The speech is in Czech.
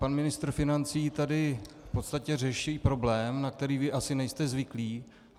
Pan ministr financí tady v podstatě řeší problém, na který vy asi nejste zvyklí.